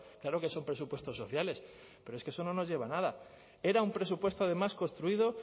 claro que son presupuestos sociales pero es que eso no nos lleva a nada era un presupuesto además construido